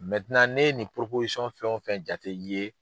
ne ye nin fɛn o fɛn jate i ye.